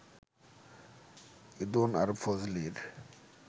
ঈদুন আর ফজলির